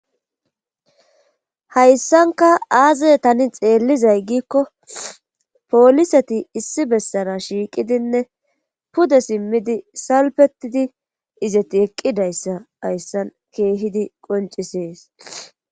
Hayssanka aaze tani xeellizay gikko pooliseti issi bessara shiiqidinne pude simmidi salpetidi izeti eqqidayssa hayssan keehidi qoncisees.